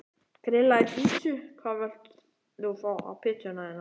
Grillaði pizzu Hvað vilt þú fá á pizzuna þína?